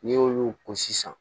N'i y'olu ko sisan